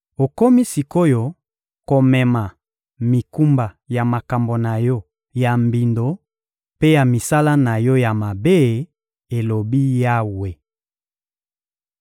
Okomi sik’oyo komema mikumba ya makambo na yo ya mbindo mpe ya misala na yo ya mabe, elobi Yawe.